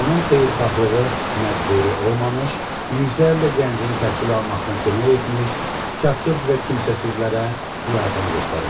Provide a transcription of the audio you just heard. Onun xeyirxahlığı məcburi olmamış, yüzlərlə gəncin təhsil almasına kömək etmiş, kasıb və kimsəsizlərə yardım göstərmişdi.